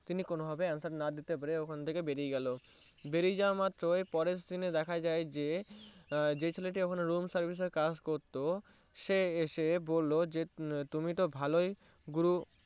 তিনি কোনো ভাবে Answer না দিতে পেরে ওখান থেকে বেরিয়ে গেলো বেরিয়ে যাওয়া মাত্র পরের দিন এ দেখা যায় যে আহ যে ছেলেটি ওখানে Room service এর কাজ করতো সে এসে বললো তুমি তো ভালোই গুরু